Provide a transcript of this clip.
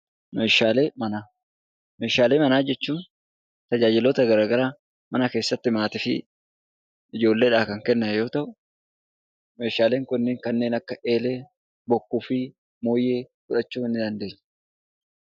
Meeshaalee manaa jechuun tajaajiloota gara garaa mana keessatti maatii fi ijoolleedhaaf kan kenname yoo ta'u, meeshaaleen kunniin kanneen akka eelee, bokkuu fi mooyyee fudhachuu ni dandeenya.